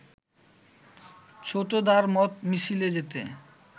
ছোটদার মত মিছিলে যেতে